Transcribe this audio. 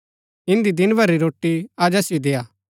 इन्दी दिन भर री रोटी अज असिओ देआ